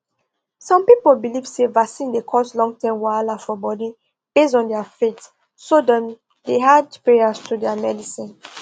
some people believe say vaccine dey cause longterm wahala for body based on their faith so dem dey add prayers to their medicine